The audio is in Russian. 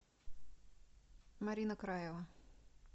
марина краева